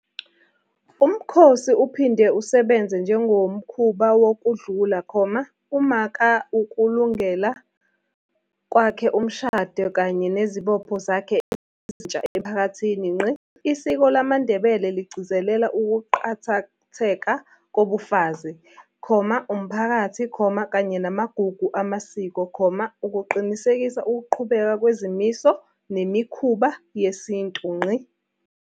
Umkhosi uphinde usebenze njengomkhuba wokudlula, umaka ukulungela kwakhe umshado kanye nezibopho zakhe ezintsha emphakathini. Isiko lamaNdebele ligcizelela ukuqakatheka kobufazi, umphakathi, kanye namagugu amasiko, ukuqinisekisa ukuqhubeka kwezimiso nemikhuba yesintu.